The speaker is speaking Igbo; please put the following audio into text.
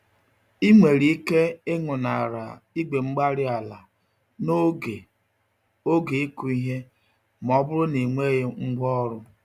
Ị nwere ike ịñụnara igwe-mgbárí-ala n'oge oge ịkụ ìhè, m'ọbụrụ na ịnweghị ngwá ọrụ